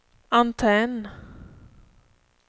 antenn